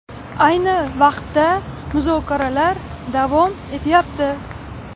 Ayni vaqtda muzokaralar davom etyapti.